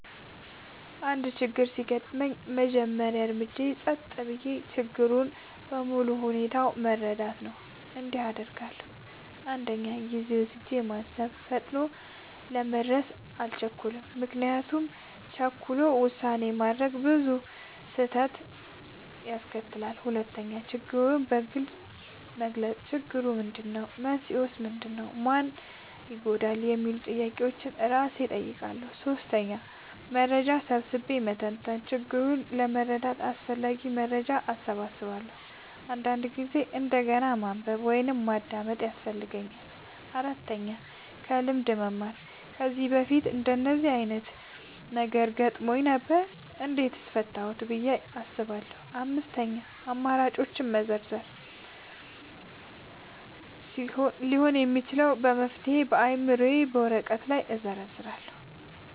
አንድ ችግር ሲያጋጥመኝ፣ የመጀመሪያው እርምጃዬ ጸጥ ብዬ ችግሩን በሙሉ ሁኔታው መረዳት ነው። እንዲህ አደርጋለሁ፦ 1. ጊዜ ወስጄ ማሰብ – ፈጥኖ ለመድረስ አልቸኩልም፤ ምክንያቱም ቸኩሎ ውሳኔ ማድረግ ብዙ ጊዜ ስህተት ያስከትላል። 2. ችግሩን በግልጽ መግለጽ – "ችግሩ ምንድነው? መንስኤው ምንድነው? ማን ይጎዳል?" የሚሉ ጥያቄዎችን እራሴን እጠይቃለሁ። 3. መረጃ ሰብስቤ መተንተን – ችግሩን ለመረዳት አስፈላጊ መረጃ እሰበስባለሁ፤ አንዳንድ ጊዜ እንደገና ማንበብ ወይም ማዳመጥ ያስፈልጋል። 4. ከልምድ መማር – "ከዚህ በፊት እንደዚህ ዓይነት ነገር አጋጥሞኝ ነበር? እንዴት ፈታሁት?" ብዬ አስባለሁ። 5. አማራጮችን መዘርዘር – ሊሆኑ የሚችሉ መፍትሄዎችን በአእምሮዬ ወይም በወረቀት ላይ እዘርዝራለሁ።